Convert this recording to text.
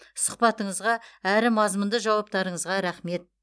сұхбатыңызға әрі мазмұнды жауаптарыңызға рақмет